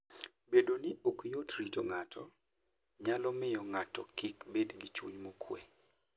Bedo ni ok yot rito ng'ato, nyalo miyo ng'ato kik bed gi chuny mokuwe.